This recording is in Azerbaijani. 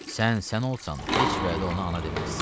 Sən sən olsan, heç vədə ona ana deməzsən.